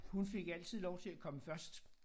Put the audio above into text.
Hun fik altid lov til at komme først